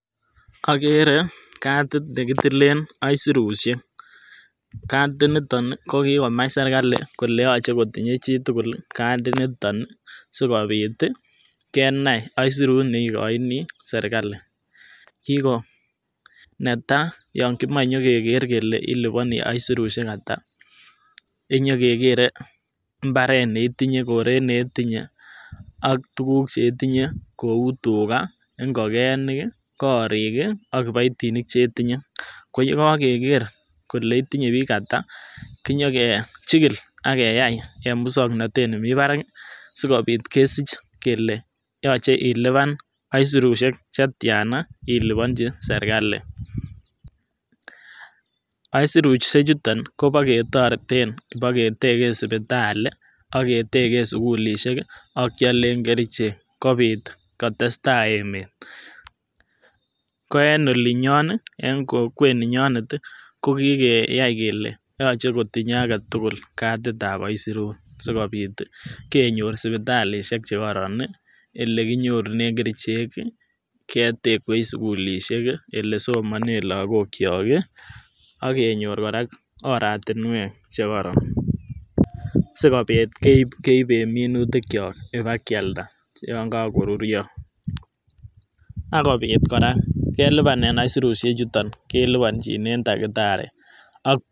Okere katit nekitilet aisurushek, kati niton kokikomach serikali kole yoche kotiinye chitukul kati niton kokikomach serkali kolo yoche kotinyee chitukul katit niton nii sikobit tii kenai aisurut neikoinii serkali, kiko netai yon kimo nyokeker kele ilibonii aisurusiek atak inyokekere imbaret neitinye koret netinye ak tukuk cheitinyee kou tugaa, ingokenik, korik kii ak kiboitinik chetinye, ko yekokeker kele itinye bik atak kinyo kechikil ak keyai en muswoknotet nemii barak sikobit kesich kele yoche ilipan aisurushne chetiana iliponchi serkali. Aisurushk chuton koboketoreten ketegen sipitali ak ketegen sukulishek kii ak kyolen kerichek kobit kotestai emet, ko en olinyon nii en kokwet ninyonet tii kokokeyai kele yoche kotindoi aketukul katitab aisurut sikobit tii kenyor sipitalishek chekoron nii ole kinyorunen kerichek ketekwech sukulishek kii ole somonen lokokyok kii ak kenyor koraa oratinwek chekoron, sikobit keiben minutik kyok ibakyalda yon kokoruryo akobit koraa keleipanen aisurushek chuton keliponjinen dactari.